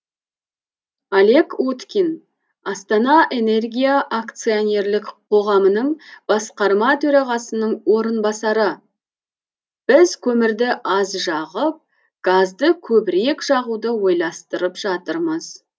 олег уткин астана энергия акционерлік қоғамының басқарма төрағасының орынбасары біз көмірді аз жағып газды көбірек жағуды ойластырып жатырмыз